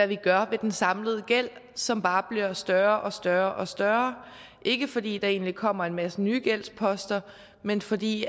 vi gør ved den samlede gæld som bare bliver større og større og større ikke fordi der egentlig kommer en masse nye gældsposter men fordi